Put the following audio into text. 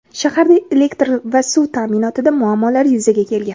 Shaharda elektr va suv ta’minotida muammolar yuzaga kelgan.